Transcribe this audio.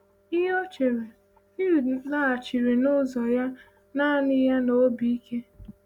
Ihe ọ chere, Ehud laghachiri n’ụzọ ya naanị ya n’obi ike.